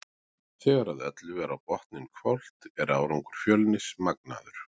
Þegar að öllu er á botninn hvolft er árangur Fjölnis magnaður.